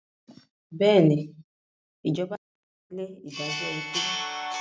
Bẹ́ẹ̀ ni, Ìjọba ti fagilé ìdájọ́ ikú.